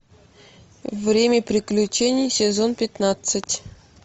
время приключений сезон пятнадцать